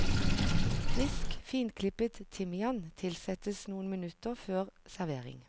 Frisk finklippet timian tilsettes noen minutter før servering.